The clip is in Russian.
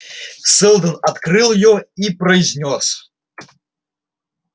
сэлдон открыл её и произнёс